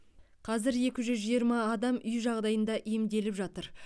қазір екі жүз жиырма адам үй жағдайында емделіп жатыр